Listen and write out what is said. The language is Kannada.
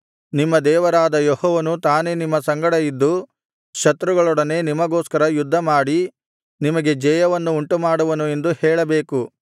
ನಿಮ್ಮ ದೇವರಾದ ಯೆಹೋವನು ತಾನೇ ನಿಮ್ಮ ಸಂಗಡ ಇದ್ದು ಶತ್ರುಗಳೊಡನೆ ನಿಮಗೋಸ್ಕರ ಯುದ್ಧಮಾಡಿ ನಿಮಗೆ ಜಯವನ್ನು ಉಂಟುಮಾಡುವನು ಎಂದು ಹೇಳಬೇಕು